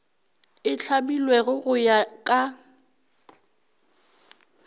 e hlamilwego go ya ka